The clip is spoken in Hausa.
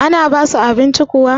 ana basu abinci kuwa?